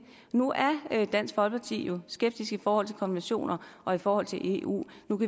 nu er dansk folkeparti jo skeptiske i forhold til konventioner og i forhold til eu